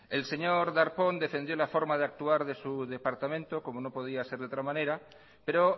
el señor darpón defendió la forma de actuar de su departamento como no podía ser de otra manera pero